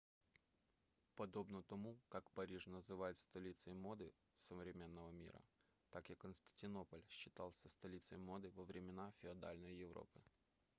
подобно тому как париж называют столицей моды современного мира так и константинополь считался столицей моды во времена феодальной европы